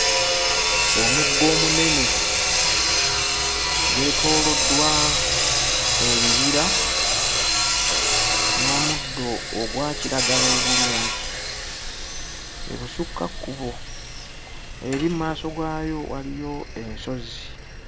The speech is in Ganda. Omugga omunene gwetooloddwa ebibira n'omuddo ogwa kiragala obulungi ebusukkakkubo eri mmaaso gaayo waliyo ensozi.